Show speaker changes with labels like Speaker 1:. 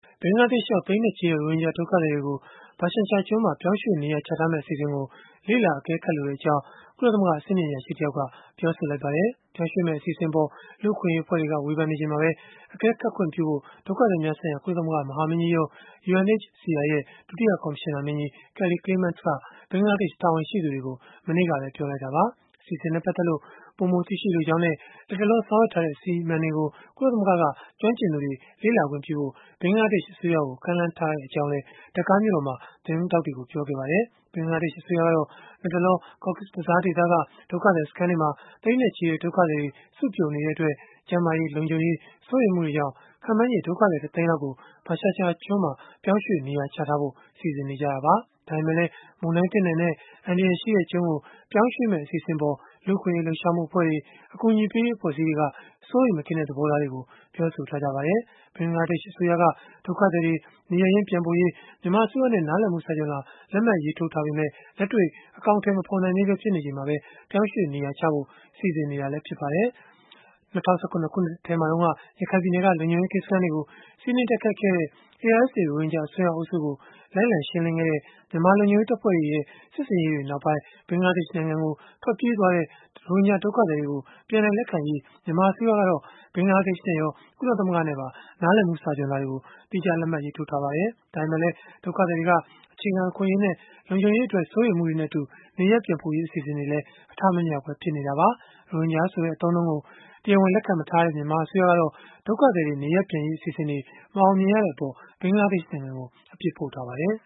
Speaker 1: ဘင်္ဂလားဒေ့ရှ်ရောက် သိန်းနဲ့ချီတဲ့ ရိုဟင်ဂျာ ဒုက္ခသည်တွေကို ဘာရှန်ချာကျွန်းမှာ ပြောင်းရွှေ့နေရာချထားမယ့် အစီအစဉ်ကို လေ့လာအကဲခတ်လိုကြောင်း ကုလသမဂ္ဂ အဆင့်မြင့်အရာရှိတယောက်က ပြောဆိုလိုက်ပါတယ်။ ပြောင်းရွှေ့မယ့် အစီအစဉ်အပေါ် လူ့အခွင့်အရေး အဖွဲ့တွေက ဝေဖန်နေချိန်မှာပဲ အကဲခတ်ခွင့်ပြုဖို့ ဒုက္ခသည်များဆိုင်ရာ ကုလသမဂ္ဂ မဟာမင်းကြီးရုံး ရဲ့ ဒုတိယ ကော်မရှင်နာမင်းကြီး Kelly Clements က ဘင်္ဂလားဒေ့ရှ် တာဝန်ရှိသူတွေကို မနေ့တုန်းက ပြောဆိုလိုက်တာပါ။ အစီအစဉ်နဲ့ ပတ်သက်လို့ ပိုမိုသိရှိလိုကြောင်းနဲ့ လတ်တလော ဆောင်ရွက်ထားတဲ့ အစီအမံတွေကို ကုလသမဂ္ဂက ကျွမ်းကျင်သူတွေ လေ့လာခွင့်ပြုဖို့ ဘင်္ဂလားဒေ့ရှ် အစိုးရကို ကမ်းလှမ်းထားကြောင်းလည်း ဒါကာမြို့တော်မှာ သတင်းထောက်တွေကို ပြောခဲ့ပါတယ်။ ဘင်္ဂလားဒေ့ရှ် အစိုးရကတော့ လတ်တလော Cox’s Bazaar ဒေသက ဒုက္ခသည်စခန်းတွေမှာ သိန်းနဲ့ချီတဲ့ ဒုက္ခသည်တွေ စုပြုံနေတဲ့အတွက် ကျန်းမာရေး၊ လုံခြုံရေး စိုးရိမ်မှုတွေကြောင့် ခန့်မှန်းချေ ဒုက္ခသည် တသိန်းလောက်ကို ဘာရှန်ချာကျွန်းမှာ ပြောင်းရွှေ့ နေရာချထားဖို့ စီစဉ်နေတာပါ။ ဒါပေမဲ့လည်း မုန်တိုင်းသင့်နိုင်တဲ့ အန္တရာယ်ရှိတဲ့ကျွန်းကို ပြောင်းရွှေ့မယ့် အစီအစဉ်အပေါ် လူ့အခွင့်အရေး လှုပ်ရှားမှု အဖွဲ့တွေ၊ အကူအညီပေးရေး အဖွဲ့အစည်းတွေက စိုးရိမ်မကင်းတဲ့ သဘောထားတွေကို ပြောဆိုထားကြပါတယ်။ ဘင်္ဂလားဒေ့ရှ် အစိုးရက ဒုက္ခသည်တွေ နေရပ်ရင်း ပြန်ပို့ရေး မြန်မာအစိုးရနဲ့ နားလည်မှု စာချွန်လွှာ လက်မှတ်ရေးထိုးထားပေမဲ့ လက်တွေ့ အကောင်အထည် မဖော်နိုင်သေးပဲ ဖြစ်နေချိန်မှာ ပြောင်းရွှေ့ နေရာချဖို့ စီစဉ်နေတာပါ။ ၂၀၁၇ ခုနှစ်ထဲမှာတုန်းက ရခိုင်ပြည်နယ်က လုံခြုံရေးကင်းစခန်းတွေကို စီးနင်းတိုက်ခိုက်ခဲ့တဲ့ ARSA ရိုဟင်ဂျာ အစွန်းရောက်အုပ်စုကို လိုက်လံရှင်းလင်းခဲ့တဲ့ မြန်မာလုံခြုံရေး တပ်ဖွဲ့တွေရဲ့ စစ်ဆင်ရေးတွေနောက်ပိုင်း ဘင်္ဂလားဒေ့ရှ်နိုင်ငံကို ထွက်ပြေးသွားတဲ့ သိန်းနဲ့ချီတဲ့ ရိုဟင်ဂျာဒုက္ခသည်တွေကို ပြန်လည် လက်ခံရေး မြန်မာအစိုးရကတော့ ဘင်္ဂလားဒေ့ရှ်နဲ့ရော၊ ကုလသမဂ္ဂနဲ့ပါ နားလည်မှု စာချွန်လွှာတွေ သီးခြားလက်မှတ် ရေးထိုးထားပါတယ်။ ဒါပေမဲ့လည်း ဒုက္ခသည်တွေရဲ့ အခြေခံအခွင့်အရေးတွေနဲ့ လုံခြုံရေးအတွက် စိုးရိမ်မှုတွေနဲ့အတူ နေရပ်ပြန်ပို့ရေး အစီအစဉ်တွေ အထမမြောက်ပဲ ဖြစ်နေတာပါ။ ရိုဟင်ဂျာဆိုတဲ့ အသုံးအနှုန်းကို တရားဝင် လက်ခံမထားတဲ့ မြန်မာအစိုးရကတော့ ဒုက္ခသည်တွေ နေရပ်ပြန်ရေး အစီအစဉ်တွေ မအောင်မြင်ရတဲ့အပေါ် ဘင်္ဂလားဒေ့ရှ်နိုင်ငံကို အပြစ်ဖို့ထားပါတယ်